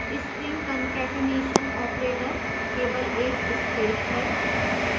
string concatenation operator केवल एक space है